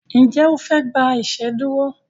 Njé ofe gbà iṣeduro?